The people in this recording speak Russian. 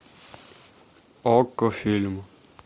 окко фильм